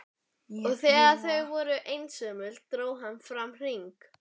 Og þegar þau voru loks einsömul dró hann fram hring.